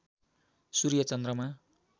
सूर्य चन्द्रमा